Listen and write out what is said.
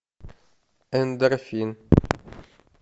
эндорфин